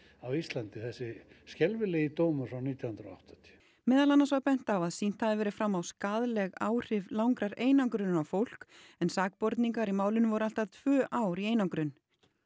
á Íslandi þessi skelfilegi dómur frá nítján hundruð og áttatíu meðal annars var bent á að sýnt hafi verið fram á skaðleg áhrif langrar einangrunar á fólk en sakborningar í málinu voru allt að tvö ár í einangrun